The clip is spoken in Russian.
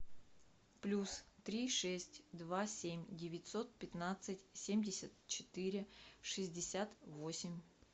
плюс три шесть два семь девятьсот пятнадцать семьдесят четыре шестьдесят восемь